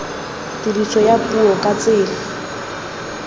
tiriso ya puo ka tsela